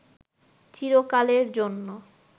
চিরকালের জন্য